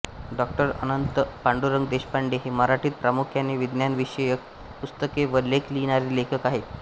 डाॅ अनंत पांडुरंग देशपांडे हे मराठीत प्रामुख्याने विज्ञानविषयक पुस्तके व लेख लिहिणारे लेखक आहेत